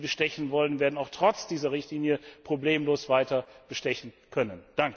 Die, die bestechen wollen, werden auch trotz dieser Richtlinie problemlos weiter bestechen können.